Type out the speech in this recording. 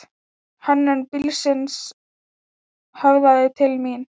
Hönnun bílsins höfðaði til mín.